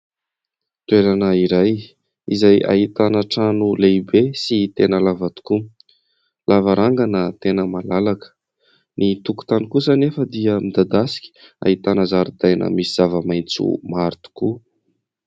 Toerana iray izay ahitana trano lehibe sy tena lava tokoa, lavarangana tena malalaka. Ny tokotany kosa anefa dia midadasika, ahitana zaridaina misy zava-maitso maro tokoa.